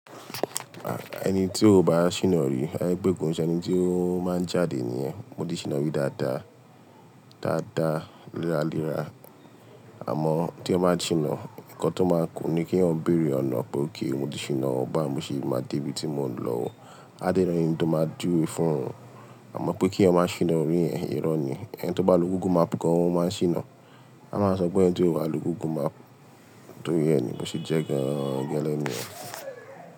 Ẹni tí ó bá ṣìnà rí, à jé pé kò ń ṣe ẹni tí ó máa ń jáde nìyẹn. Mo ti ṣìnà rí dáadáa, dáadáa léraléra. Àmọ́ tí èyàn bá ṣìnà, ǹkan tó máa kù ni kí èyàn béèrè ọ̀nà, pé ókè mo ti ṣìnà ọ́, bá wò mo ṣe máa dé ibi tí mò ń lọ. A dé ni ènì tó máa júwe fún ọ. Àmọ́ pé kí èyàn máa ṣìnà orí yẹ̀n, irọ́ ni. Ẹni tó bá lo Google Map kan, ó máa ń ṣìnà. A máa sọ pé ẹni tí ó bá lo Google Map tóri ẹ̀ ni mo ṣe jẹ́ ran gẹ́lẹ́ nìyẹn.